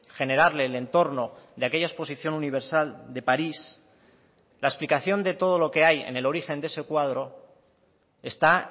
generarle el entorno de aquella exposición universal de parís la explicación de todo lo que hay en el origen de ese cuadro está